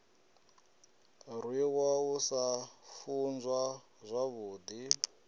rwiwa u sa funzwa zwavhudi